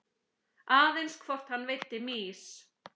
Aðeins hvort hann veiddi mýs.